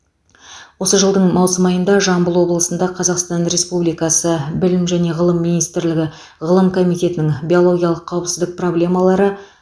осы жылдың маусым айында жамбыл облысында қазақстан республикасы білім және ғылы министрлігі ғылым комитетінің биологиялық қауіпсіздік проблемалары